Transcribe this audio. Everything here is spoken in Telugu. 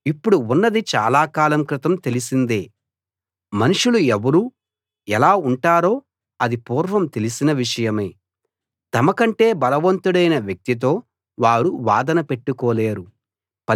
ఇప్పుడు ఉన్నది చాలా కాలం క్రితం తెలిసిందే మనుషులు ఎవరు ఎలా ఉంటారో అది పూర్వం తెలిసిన విషయమే తమకంటే బలవంతుడైన వ్యక్తితో వారు వాదన పెట్టుకోలేరు